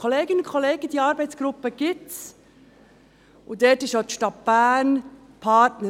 Kolleginnen und Kollegen, diese Arbeitsgruppe gibt es, und auch die Stadt Bern ist Partner.